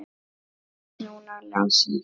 Björn, núna Lási.